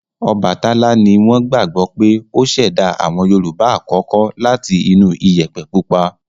Ọbàtálá ni wọ́n gbagbọ pé ó ṣẹ̀dá àwọn Yorùbá àkọ́kọ́ láti inú Iyẹ̀pẹ̀ pupa